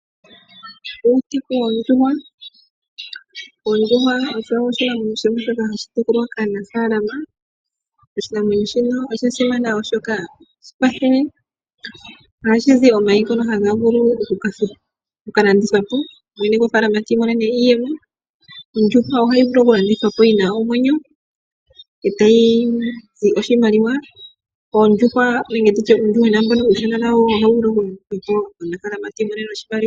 Okutekula oondjuhwa Ondjuhwa osho oshinamwenyo shoka hashi tekulwa kaanafaalama oshinamwenyo shika osha simana, oshoka ohashi kwathele. Ohashi zi omayi ngono haga vulu oku ka landithwa po ye mwene gofaalama ti imonene iiyemo. Ondjuhwa ohayi vulu okulandithwa po yi na omwenyo e tayi zi oshimaliwa. Uuyuhwena nawo ohawu vulu okulandithwa po ndele omunafaalama ti imonene oshimaliwa.